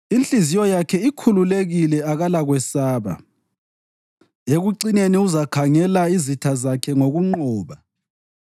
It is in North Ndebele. Inhliziyo yakhe ikhululekile, akalakwesaba; ekucineni uzakhangela izitha zakhe ngokunqoba.